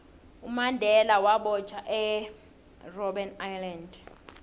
umandela wabotjhwa erbben island